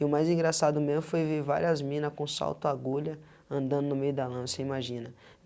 E o mais engraçado mesmo foi ver várias mina com salto agulha andando no meio da lama, você imagina.